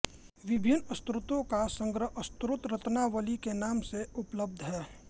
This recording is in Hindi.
विभिन्न स्तोत्रों का संग्रह स्तोत्ररत्नावली के नाम से उपलब्ध है